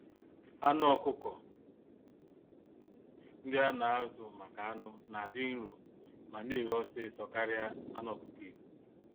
Anụ ọkụkọ ndị ana-azu-maka-anụ̀ n'adị nro ma neghe ọsịsọ karịa anụ ọkụkọ Igbo